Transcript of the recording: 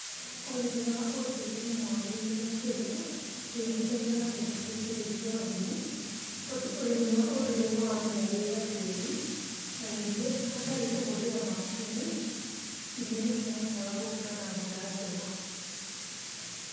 Ũrĩmi wa ũndũĩre nĩ mwagĩrĩru makĩria ũkĩringithania na njĩra cia kĩĩrĩu cia ũrĩmi tondũ ũrĩmi wa ũndũĩre nĩ wamenyagĩrĩra tĩri, na ningĩ hatarĩ kũhũthĩra macini, irio nĩ cia hotaga gũkũra na njĩra njega.